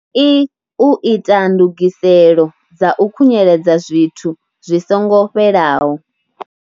l u ita ndugiselo dza u khu nyeledza zwithu zwi songo fhelaho.